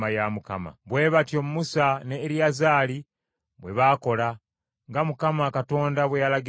Bwe batyo Musa ne Eriyazaali bwe baakola, nga Mukama Katonda bwe yalagira Musa.